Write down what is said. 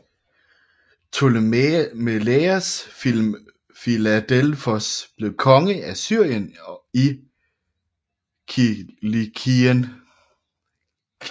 Ptomelaios Filadelfos blev konge af Syrien og Kilikien